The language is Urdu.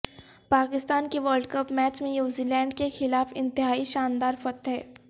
پاکستان کی ورلڈ کپ میچ میں نیوزی لینڈ کے خلاف انتہائی شاندار فتح